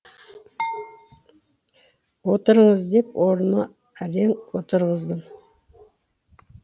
отырыңыз деп орынына әрең отырғыздым